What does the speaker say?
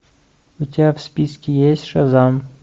у тебя в списке есть шазам